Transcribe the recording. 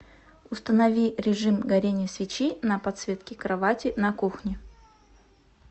установи режим горение свечи на подсветке кровати на кухне